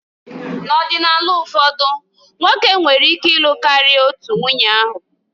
N'ọdịnala ụfọdụ, nwoke nwere ike ịlụ karịa otu nwunye ahụ